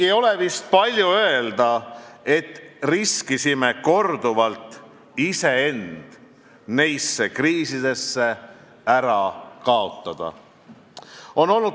Ei ole vist palju öelda, et oleme korduvalt riskinud iseend nendesse kriisidesse ära kaotada.